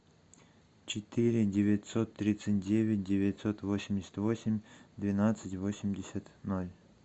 четыре девятьсот тридцать девять девятьсот восемьдесят восемь двенадцать восемьдесят ноль